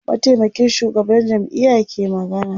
mataimakin shugaban jam'iya ke magana